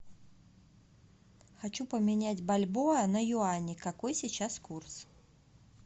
хочу поменять бальбоа на юани какой сейчас курс